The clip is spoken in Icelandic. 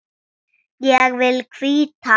Ég vil hvíta.